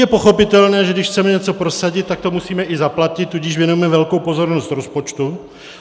Je pochopitelné, že když chceme něco prosadit, tak to musíme i zaplatit, tudíž věnujeme velkou pozornost rozpočtu.